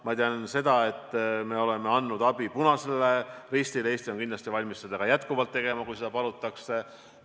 Ma tean seda, et me oleme andnud abi Punasele Ristile, Eesti on kindlasti valmis seda ka edaspidi tegema, kui seda palutakse.